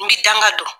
N bɛ danga don